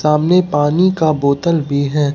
सामने पानी का बोतल भी है।